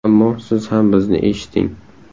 Ammo siz ham bizni eshiting.